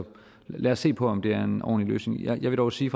lad os se på om det er en ordentlig løsning jeg vil dog sige